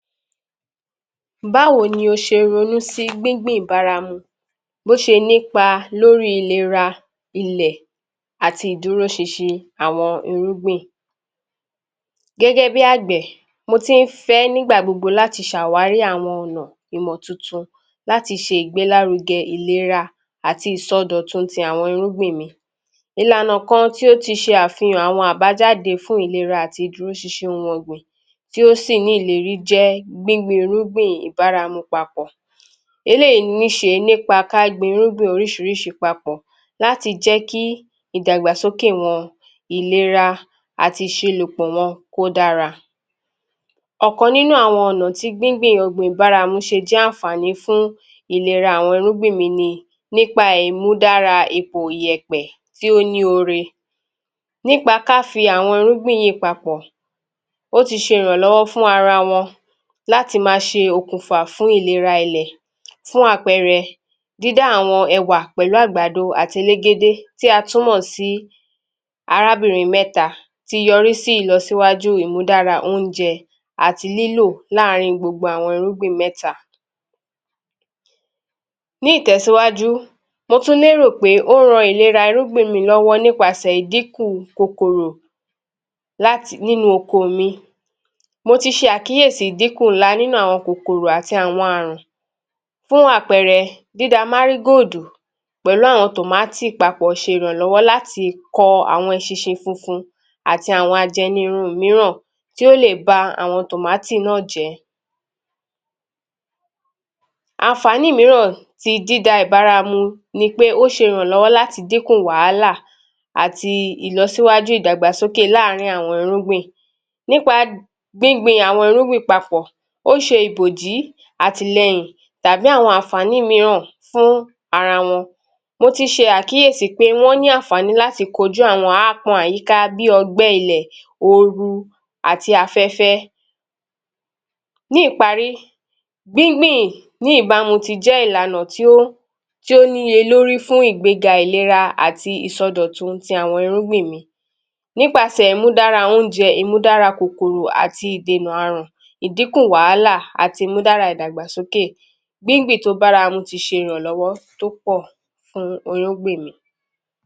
Báwo ni o ṣe ronú sí gbíngbìn baramu, bóṣe nípa lórí ìlera, ilẹ̀, àti ìdúróṣinṣin àwọn irúgbìn? Gẹ́gẹ́ bí àgbẹ̀, mo ti ń fẹ́ nígbà gbogbo láti ṣàwárí àwọn ọ̀nà ìmọ̀ tuntun láti ṣe ìgbélárugẹ ìlera àti ìsọdọ̀tun t’àwọn irúgbìn mi. Ìlànà kan tí ó ti ṣe àfihàn àwọn àbájáde fún ìlera àti ìdúróṣinṣin oun ọ̀gbìn tí ó sì ní ìlérí jẹ́ gbíngbin irúgbìn ìbáramu papọ̀. Eléyìí níṣe nípa ká gbin irúgbìn oríṣiríṣi papọ̀ láti jẹ́ kí ìdàgbàsókè wọn, ìlera àti ìṣilùpọ̀ wọn kó dára. Ọ̀kan nínú àwọn ọ̀na tí gbíngbin ọ̀gbìn ìbáramu ṣe jẹ́ àǹfààní fún ìlera àwọn irúgbìn yí ni nípa ìmúdára ipò ìyẹ̀pẹ̀ tí óní ore. Nípa ká fi àwọn irúgbìn yìí papọ̀,o ti ṣe ìrànlọ́wọ́ fuń ara wọn láti ma ṣe òkùnfà fún ìlera ilẹ̀. Fún àpẹẹrẹ, dídá àwọn ẹ̀wà pẹlu àgbàdo àti elégédé tí a tún mọ̀ sí 'Arábìnrin mẹ́ta'’Ti yọrí sí ìlọsíwájú ìmúdára óńjẹ àti lílò láàárín gbogbo àwọn irúgbìn mẹ́ta. Ní ìtẹ̀síwájú, mo tún lérò pé ó ran ìlera irúgbìn mi lọ́wọ́ nípasẹ̀ ìdínkù kòkòrò nínú okoò mi. Mo ti ṣe àkíyèsí ìdíkù ńlá nínú àwọn kòkòrò àti àwọn àrùn. Fún àpẹẹrẹ; dída Márígóòdù pẹ̀lú àwọn tòmátì papọ̀ ṣe ìrànlọ́wọ́ láti kọ àwọn eṣinṣin funfun àti àwọn ajẹnirun míràn tí ó lè ba àwọn tòmátì náà jẹ́. Àǹfààní míràn ti dídáa ìbáramu ni pé o ṣe ìrànlọ́wọ́ láti dínkù wàhálà àti ìlọsíwájú ìdàgbàsókè láàárín àwọn irugbìn. Nípa gbińgbin àwọn irúgbìn papọ̀, ó ṣe ìbòjí, àtìlẹyìn tàbí àwọn àǹfààní míràn fún ara wọn. Mo ti ṣe alkíyèsí pé wọ́n ní àǹfààní láti kojú àwọn aápọn àyíká bí ọgbẹ́ ilẹ̀, oru, àti afẹ́fẹ́. Ní ìparí, gbíngbìn ní ìbámu ti jẹ́ ìlànà tí ó níye lórí fún ìgbéga, ìlera àti ìsọdọ̀tun ti àwọn irúgbìn mi. Nípasẹ̀ ìmúdára óńjẹ, ìmúdára kòkòrò àti ìdènà àrùn, ìdínkù wàhálà àti ìmúdárá ìdàgbàsókè. Gbíngbìn tó báramu ti ṣe ìràlọ́wọ́ tó pọ̀ fún irúgbìn mi.